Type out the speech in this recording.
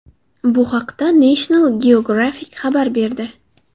Bu haqda National Geographic xabar berdi .